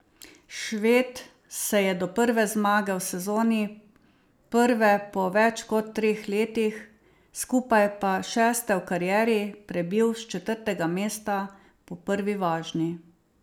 Šved se je do prve zmage v sezoni, prve po več kot treh letih, skupaj pa šeste v karieri, prebil s četrtega mesta po prvi vožnji.